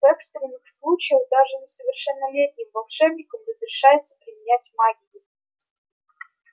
в экстренных случаях даже несовершеннолетним волшебникам разрешается применять магию